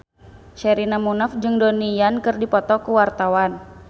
Sherina Munaf jeung Donnie Yan keur dipoto ku wartawan